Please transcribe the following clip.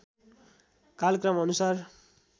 कालक्रम अनुसार